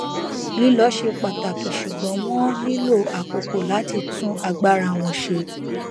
lílọ ṣe pàtàkì ṣugbọn wọn nílò àkókò láti tún agbára wọn ṣe